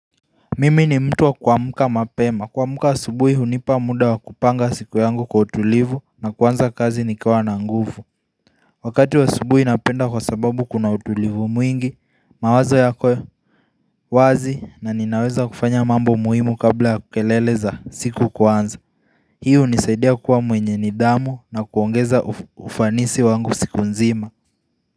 Mimi ni mtu wa kuamka mapema kuamka asubuhi hunipa muda wa kupanga siku yangu kwa utulivu na kuanza kazi nikiwa na nguvu Wakati wa asubuhi napenda kwa sababu kuna utulivu mwingi mawazo yakwe wazi na ninaweza kufanya mambo muhimu kabla ya ku kelele za siku kuanza Hii hunisaidia kuwa mwenye nidhamu na kuongeza ufanisi wangu siku nzima.